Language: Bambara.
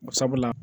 Ko sabula